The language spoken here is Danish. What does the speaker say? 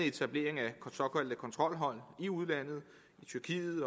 etablering af såkaldte kontrolhold i udlandet i tyrkiet